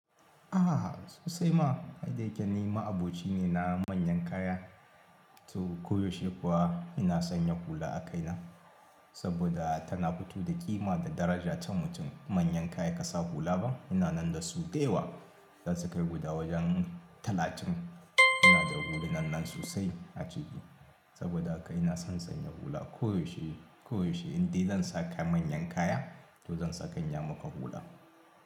Aha sosai ma, ai da yake ni ma aboci ne na manyan kaya. To koyaushe kuwa ina sanya hula a kaina saboda tana fito da ƙima da daraja ta mutum. Manyan kaya ka sa hula ba, ina nan da su da yawa. Zasu kai guda wajen talatin. Ina da hulunan nan sosai a ciki saboda haka ina son sanya hula koyaushe, koyaushe. Indai zan saka manyan kaya to zan saka niyyamaka hula.